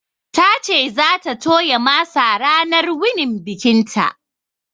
Ta ce za ta toya masa ranar wunin bikinta